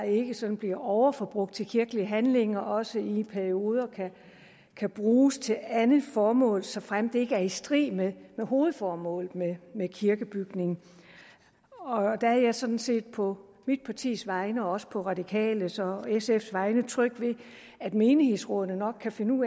ikke sådan bliver overforbrugt til kirkelige handlinger også i perioder kan bruges til andet formål såfremt det ikke er i strid med hovedformålet med med kirkebygningen der er jeg sådan set på mit partis vegne og også på de radikales og sfs vegne tryg ved at menighedsrådene nok kan finde